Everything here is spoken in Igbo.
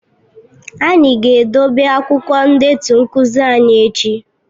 Anyị ga-edobe akwụkwọ ndetu nkuzi anyị echi